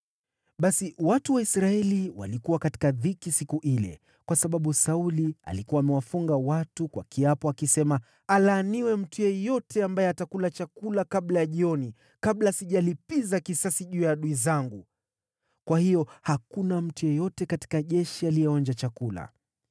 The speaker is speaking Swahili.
Basi watu wa Israeli walikuwa katika dhiki siku ile, kwa sababu Sauli alikuwa amewafunga watu kwa kiapo, akisema, “Alaaniwe mtu yeyote ambaye atakula chakula kabla ya jioni, kabla sijalipiza kisasi juu ya adui zangu!” Kwa hiyo hakuna mtu yeyote katika jeshi aliyeonja chakula.